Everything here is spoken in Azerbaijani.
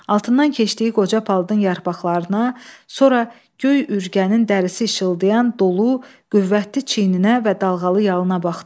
Altından keçdiyi qoca palıdın yarpaqlarına, sonra göy ürgənin dərisi işıldayan, dolu, qüvvətli çiyninə və dalğalı yalına baxdı.